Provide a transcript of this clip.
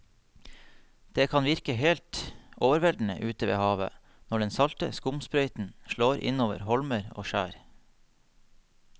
Det kan virke helt overveldende ute ved havet når den salte skumsprøyten slår innover holmer og skjær.